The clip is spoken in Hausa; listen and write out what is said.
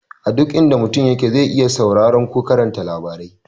A duk inda mutum yake zai iya sauraron ko karanta labarai.